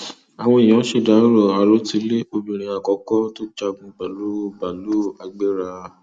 àwọn èèyàn ṣèdàrọ àròtilé obìnrin àkọkọ tó jagun pẹlú báàlúù agbera